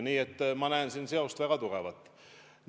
Nii et ma näen siin väga tugevat seost.